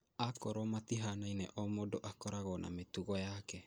Akorwo matihanaine o mũndũ akoragwo na mĩtugo yake